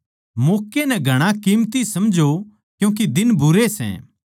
मौक्कै नै घणा कीमती समझों क्यूँके दिन बुरे सै